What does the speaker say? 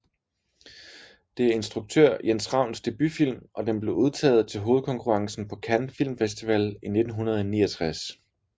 Det er instruktør Jens Ravns debutfilm og den blev udtaget til hovedkonkurrencen på Cannes Film Festival 1969